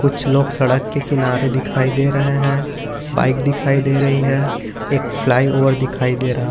कुछ लोग सड़क के किनारे दिखाई दे रहे हैं बाइक दिखाई दे रही हैं एक फ्लाईओवर दिखाई दे रहा